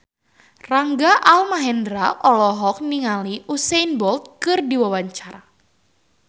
Rangga Almahendra olohok ningali Usain Bolt keur diwawancara